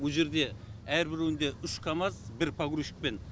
о жерде әрбіреуінде үш камаз бір погрузчикпен